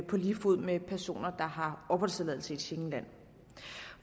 på lige fod med personer der har opholdstilladelse i et schengenland